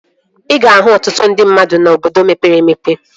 Ị ga-ahụ ọtụtụ ndị mmadụ n'obodo mepere emepe